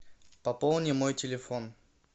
пополни мой телефон